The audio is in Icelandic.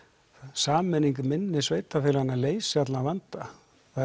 sameining minni sveitarfélaga leysi allan vanda